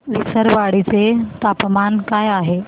विसरवाडी चे तापमान काय आहे